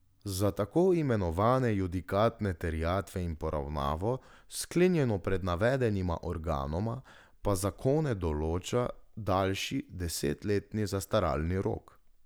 Za tako imenovane judikatne terjatve in poravnavo, sklenjeno pred navedenima organoma, pa zakon določa daljši, desetletni zastaralni rok.